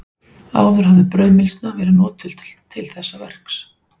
Áður hafði brauðmylsna verið notuð til þessa verks.